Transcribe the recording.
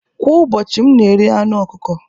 Kwa ụbọchị, m na-eri anụ ọkụkọ